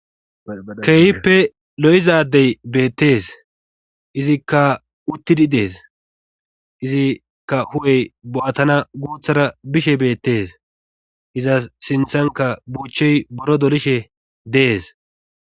Keeyippe lo'izadey beettees izikka uttidi dees izikka hu'ey bo'atana guuthara bishe beettes izas sinthanka buuchey boro dolishe dees